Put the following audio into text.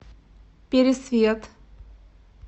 пересвет